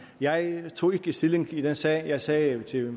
jeg tog ikke stilling i den sag jeg sagde til